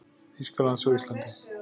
Þýskalands á Íslandi.